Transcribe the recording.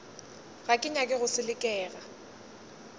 ga ke nyake go selekega